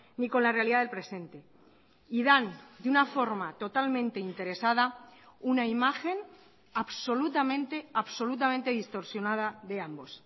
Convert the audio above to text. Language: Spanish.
ni con la realidad del presente y dan de una forma totalmente interesada una imagen absolutamente absolutamente distorsionada de ambos